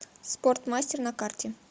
спортмастер на карте